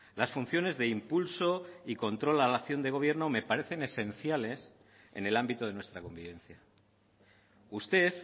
las funciones de impulso y control a la acción de gobierno me parecen esenciales en el ámbito de nuestra convivencia usted